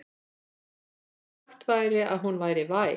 Sagt væri að hún væri væg.